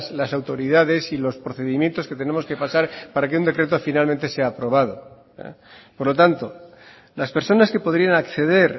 las autoridades y los procedimientos que tenemos que pasar para que un decreto finalmente sea aprobado por lo tanto las personas que podrían acceder